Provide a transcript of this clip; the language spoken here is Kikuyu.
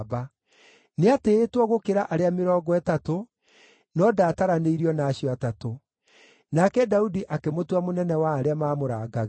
Nĩatĩĩtwo gũkĩra arĩa Mĩrongo Ĩtatũ, no ndaataranĩirio na acio Atatũ. Nake Daudi akĩmũtua mũnene wa arĩa maamũrangagĩra.